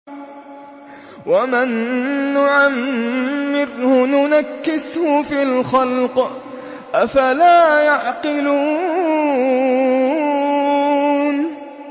وَمَن نُّعَمِّرْهُ نُنَكِّسْهُ فِي الْخَلْقِ ۖ أَفَلَا يَعْقِلُونَ